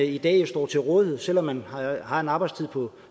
i dag står til rådighed selv om man har en arbejdstid på